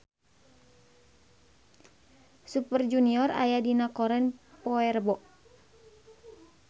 Super Junior aya dina koran poe Rebo